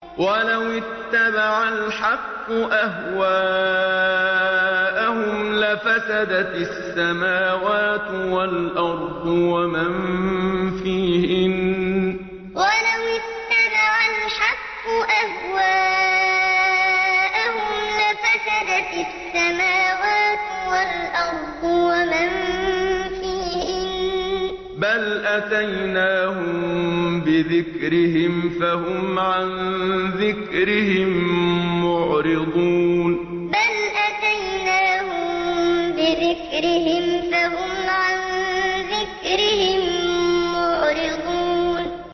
وَلَوِ اتَّبَعَ الْحَقُّ أَهْوَاءَهُمْ لَفَسَدَتِ السَّمَاوَاتُ وَالْأَرْضُ وَمَن فِيهِنَّ ۚ بَلْ أَتَيْنَاهُم بِذِكْرِهِمْ فَهُمْ عَن ذِكْرِهِم مُّعْرِضُونَ وَلَوِ اتَّبَعَ الْحَقُّ أَهْوَاءَهُمْ لَفَسَدَتِ السَّمَاوَاتُ وَالْأَرْضُ وَمَن فِيهِنَّ ۚ بَلْ أَتَيْنَاهُم بِذِكْرِهِمْ فَهُمْ عَن ذِكْرِهِم مُّعْرِضُونَ